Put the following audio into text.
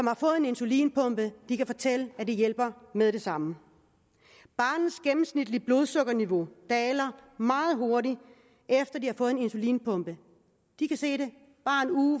har fået en insulinpumpe og de kan fortælle at det hjælper med det samme barnets gennemsnitlige blodsukkerniveau daler meget hurtigt efter det har fået en insulinpumpe